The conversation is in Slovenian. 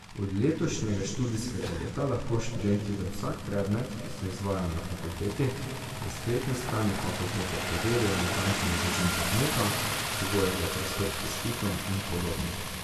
Od letošnjega študijskega leta lahko študenti za vsak predmet, ki se izvaja na fakulteti, na spletni strani fakultete preverijo natančen režim predmeta, pogoje za pristop k izpitom in podobno.